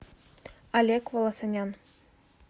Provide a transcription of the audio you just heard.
олег волосанян